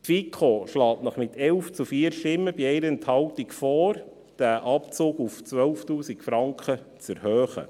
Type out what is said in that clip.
Die FiKo schlägt Ihnen mit 11 zu 4 Stimmen bei 1 Enthaltung vor, den Abzug auf 12 000 Franken zu erhöhen.